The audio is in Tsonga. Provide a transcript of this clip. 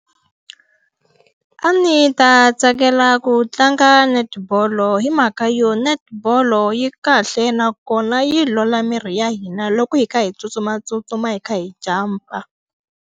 A ni ta tsakela ku tlanga netball-lo hi mhaka yo netball-o yi kahle nakona yi olola miri ya hina loko hi kha hi tsutsumatsutsuma hi kha hi jump-a.